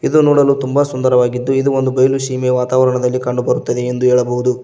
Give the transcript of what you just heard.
ಇದು ನೋಡಲು ತುಂಬ ಸುಂದರವಾಗಿದ್ದು ಇದು ಒಂದು ಬಯಲು ಸೀಮೆಯ ವಾತಾವರಣದಲ್ಲಿ ಕಂಡು ಬರುತ್ತದೆ ಎಂದು ಹೇಳಬಹುದು.